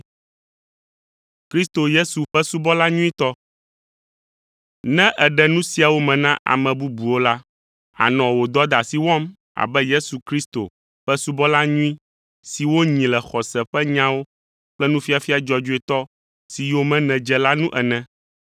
Ne èɖe nu siawo me na ame bubuwo la, ànɔ wò dɔdeasi wɔm abe Yesu Kristo ƒe subɔla nyui si wonyi le xɔse ƒe nyawo kple nufiafia dzɔdzɔetɔ si yome nèdze la nu ene.